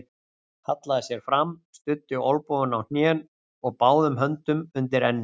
Hallaði sér fram, studdi olnbogunum á hnén og báðum höndum undir enni.